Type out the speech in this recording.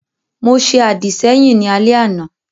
Mo ṣe àdìsẹ́yìn ní alẹ́ àná